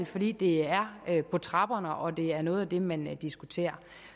fordi det er på trapperne og at det er noget af det man diskuterer